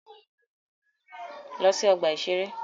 Lọ sí ọgbà-ìṣeré!